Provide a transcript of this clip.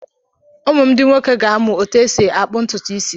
Ụmụ m ndị nwoke ga-amụ otú e si akpụ ntutu isi.